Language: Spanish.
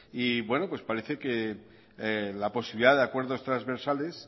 y parece que la posibilidad de acuerdos transversales